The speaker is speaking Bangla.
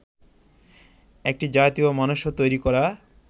একটি জাতীয় মানস তৈরি করা